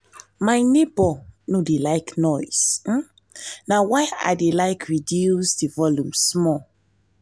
my neighbor no dey like noise na why i dey like reduce the volume small